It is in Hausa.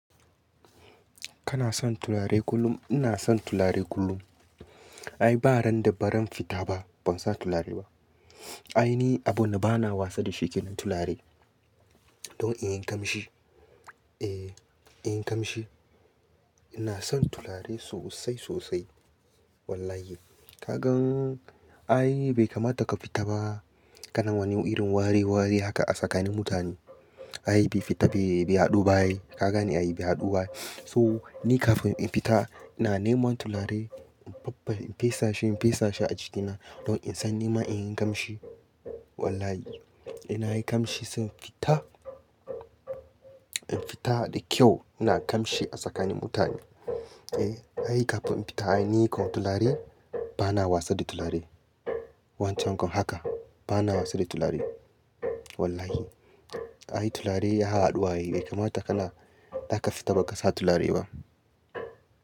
Kana son turare kullum? Ina son turare kullum. Ai ba ran da ba ran fita ba ban sa turare ba. Ai ni abun da bana wasa da sheke na turare don in yi kamshi. E, in yi ƙamshi. Ina son turare sosai sosai wallahi. Ka gan ai bai kamata ka fita ba kana wani irin wareware haka a tsakanin mutane. Ai bai fita bai, bai haɗu ba ai. Ka gani ai bai haɗu ba ai. To ni kafin in fita ina neman turare in faffar in fesashi, in fesashi a jikina don in san nima in yi ƙamshi wallahi. Ina yi ƙamshi sai in fita, in fita da kyau ina ƙamshi a tsakanin mutane. E, ai kafin in fita ai ni kon turare bana wasa da turare. Wancan kon haka bana wasa da turare wallahi. Ai turare ya haɗu wa ai bai kamata ka na za ka fita ba ka sa turare ba.